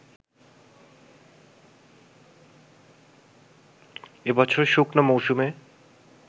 এবছর শুকনো মৌসুমে